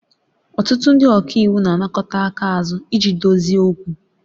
Ọtụtụ ndị ọka iwu na-anakọta aka azu iji dozie okwu